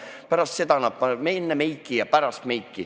Ja lisaks panevad nad endale meiki peale.